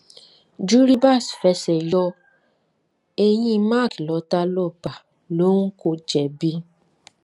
juribas fẹsẹ yọ eyín mark lọtà ló bá lóun kò jẹbi